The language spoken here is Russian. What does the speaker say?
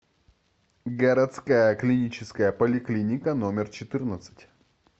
городская клиническая поликлиника номер четырнадцать